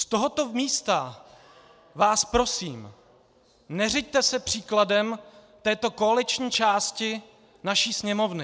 Z tohoto místa vás prosím, neřiďte se příkladem této koaliční části naší Sněmovny.